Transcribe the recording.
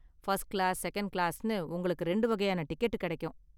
First class, second கிளாஸ்னு உங்களுக்கு ரெண்டு வகையான டிக்கெட் கிடைக்கும்.